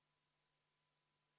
Me oleme eelnõu 605 lõpphääletuse juures.